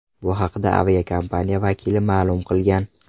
Bu haqda aviakompaniya vakili ma’lum qilgan.